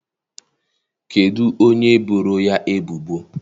Kedụ onye boro ya ebubo?